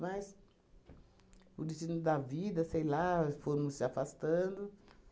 Mas, o destino da vida, sei lá, fomos se afastando.